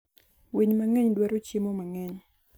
Winy mang'eny dwaro chiemo mang'eny.